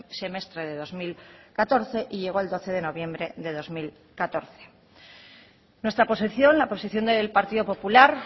semestre de dos mil catorce y llegó el doce de noviembre de dos mil catorce nuestra posición la posición del partido popular